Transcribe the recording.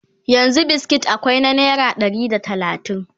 yanzun biskit akwai na naira Ɗari da talatin